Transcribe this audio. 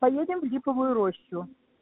поедем в липовую рощу